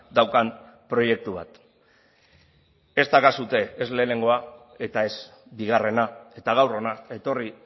daukan proiektu bat ez daukazue ez lehenengoa eta ez bigarrena eta gaur hona etorri